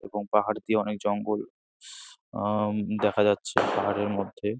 এবং পাহাড় দিয়ে অনেক জঙ্গল অ দেখা যাচ্ছে পাহাড়ের মধ্যে।